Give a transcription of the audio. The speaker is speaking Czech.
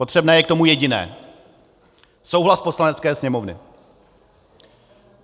Potřebné je k tomu jediné - souhlas Poslanecké sněmovny.